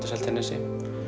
á Seltjarnarnesi